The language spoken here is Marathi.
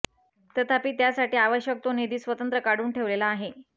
तथापि त्यासाठी आवश्यक तो निधी स्वतंत्र काढून ठेवलेला आहे